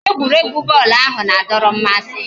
Egwuregwu bọọlụ ahụ na-adọrọ mmasị